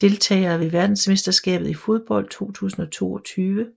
Deltagere ved verdensmesterskabet i fodbold 2022